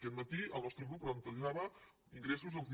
aquest matí el nostre grup plantejava ingressos de